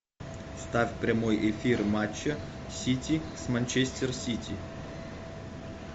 ставь прямой эфир матча сити с манчестер сити